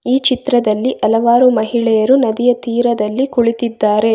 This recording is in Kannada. ಈ ಚಿತ್ರದಲ್ಲಿ ಹಲವಾರು ಮಹಿಳೆಯರು ನದಿಯ ತೀರದಲ್ಲಿ ಕುಳಿತ್ತಿದ್ದಾರೆ.